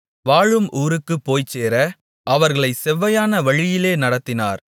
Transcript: வாழும் ஊருக்குப்போய்ச்சேர அவர்களைச் செவ்வையான வழியிலே நடத்தினார்